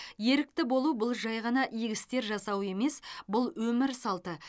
ерікті болу бұл жай ғана игі істер жасау емес бұл өмір салты